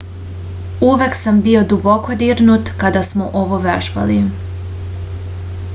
uvek sam bio duboko dirnut kada smo ovo vežbali